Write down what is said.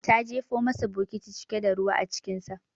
Ta jefo musu bokiti cike da ruwa acikinsa.